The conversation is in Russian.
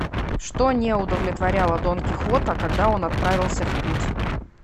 что не удовлетворяло дон кихота когда он отправился в путь